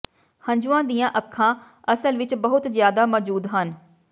ਹੰਝੂਆਂ ਦੀਆਂ ਅੱਖਾਂ ਅਸਲ ਵਿਚ ਬਹੁਤ ਜ਼ਿਆਦਾ ਮੌਜੂਦ ਹਨ